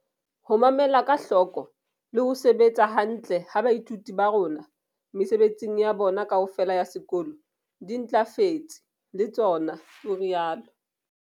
Ho mamela ka hloko le ho sebetsa hantle ha baithuti ba rona mesebetsing ya bona kaofela ya sekolo di ntlafetse le tsona, o rialo.